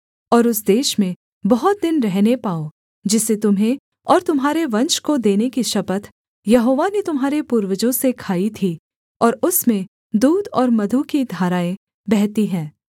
और उस देश में बहुत दिन रहने पाओ जिसे तुम्हें और तुम्हारे वंश को देने की शपथ यहोवा ने तुम्हारे पूर्वजों से खाई थी और उसमें दूध और मधु की धाराएँ बहती हैं